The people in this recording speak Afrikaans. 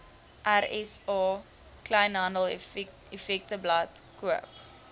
rsa kleinhandeleffektewebblad koop